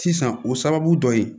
Sisan o sababu dɔ ye